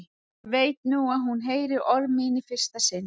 Ég veit nú að hún heyrir orð mín í fyrsta sinn.